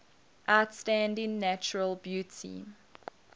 outstanding natural beauty